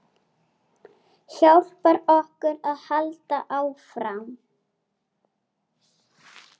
Hjálpar okkur að halda áfram.